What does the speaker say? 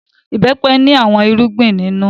Ìbẹ́pẹ ní àwọn irúgbìn nínú.